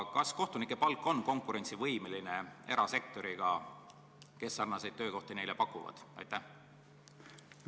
Kas kohtunike palk on konkurentsivõimeline palkadega erasektoris, kus neile sarnaseid töökohti pakutakse?